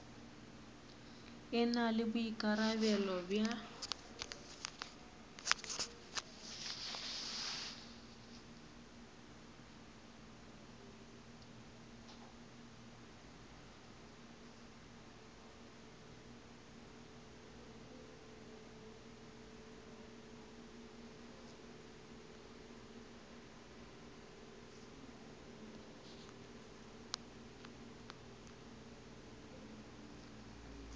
e na le boikarabelo bja